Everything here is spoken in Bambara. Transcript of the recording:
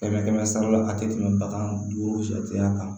Kɛmɛ kɛmɛ sara la a tɛ tɛmɛ bagan duuru jateya kan